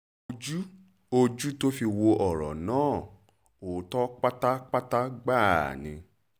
ojú ojú tó fi wo ọ̀rọ̀ náà ọ̀tọ̀ pátápátá gbáà ni